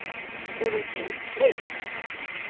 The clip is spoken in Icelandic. Hún er þyrst.